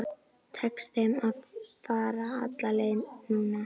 Tekst þeim að fara alla leið núna?